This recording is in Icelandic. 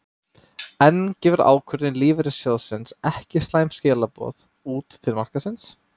En gefur ákvörðun lífeyrissjóðsins ekki slæm skilaboð út til markaðarins?